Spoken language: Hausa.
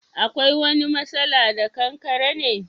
Akwai wani masala da Kankare ne?